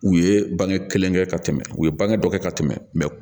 U ye bange kelen kɛ ka tɛmɛ u ye bange dɔ kɛ ka tɛmɛ mɛ